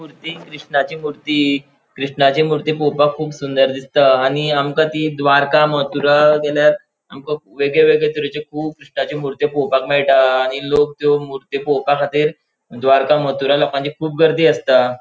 मूर्ती कृष्णाची मूर्ती कृष्णाची मूर्ती पोवपाक कुब सुंदर दिसता आणि आमका ती द्वारका मथुरा गेल्यार आमका वेगगे वेगगे तरेची कुब कृष्णाची मूर्ती पॉवपक मेळता आणि लोग त्यो मूर्ती पोवपाखातीर द्वारका मथुरा लोकांची कुब गर्दी आसता.